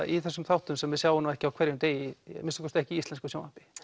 í þessum þáttum sem við sjáum nú ekki á hverjum degi að minnsta kosti ekki í íslensku sjónvarpi